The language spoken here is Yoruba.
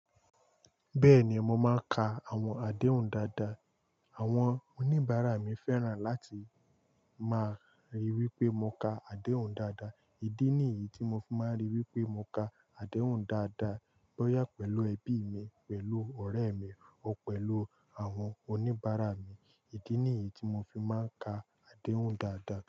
Bẹ́ẹ̀ni, mo máa ń ka àwọn àdéhùn dáadáa. Àwọn oníbàárà mi fẹ́ràn láti máa ríi wípé mo ka àdéhùn dáadáa. Ídí nìyí tí mo fi máa ń ríi wípé mo ka àdéhùn dáadáa. Bóyá pẹ̀lú ẹbí mi, pẹ̀lú ọ̀rẹ́ mi o pẹ̀lú àwọn oníbàárà mi. Ídí nìyí tí mo fi máa ń ka àdéhùn dáadáa.